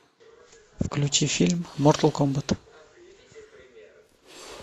включи фильм мортал комбат